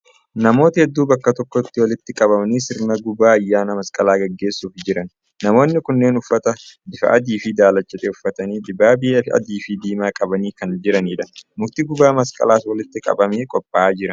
Namoota hedduu bakka tokkotti walitti qabamanii sirna gubaa ayyaana masqalaa gaggeessuuf jiran. Namoonni kunneen uffata bifa adii fi daalacha ta'e uffatanii dibaabee adii fi diimaa qabanii kan jiranidha. Mukti gubaa masqalaas walitti qabamee qophaa'ee jira.